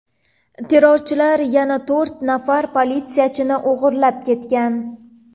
Terrorchilar yana to‘rt nafar politsiyachini o‘g‘irlab ketgan.